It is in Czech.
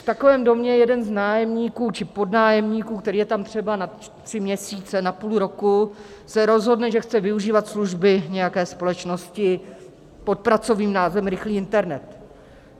V takovém domě jeden z nájemníků či podnájemníků, který je tam třeba na tři měsíce, na půl roku, se rozhodne, že chce využívat služby nějaké společnosti pod pracovním názvem Rychlý internet.